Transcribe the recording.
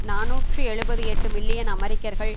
நாநூற்று எழுபத்து எட்டு மில்லியன் அமெரிக்கர்கள்